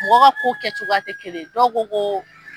Mɔgɔ ka ko kɛcogoya tɛ kelen ye dow ko ko.